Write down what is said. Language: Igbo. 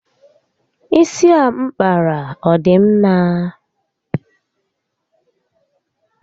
Isi a mpkara ọ dị mma?